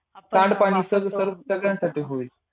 सांडपाणी सर सगळ्यांसाठी होईल.